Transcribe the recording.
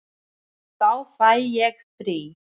Þá fæ ég frí.